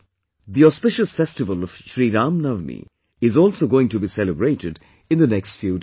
The auspicious festival of Shri Ram Navami is also going to be celebrated in the next few days